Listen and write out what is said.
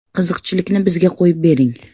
– Qiziqchilikni bizga qo‘yib bering.